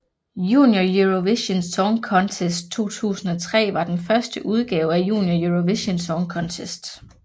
Junior Eurovision Song Contest 2003 var den første udgave af Junior Eurovision Song Contest